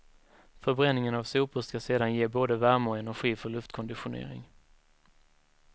Förbränningen av sopor ska sedan ge både värme och energi för luftkonditionering.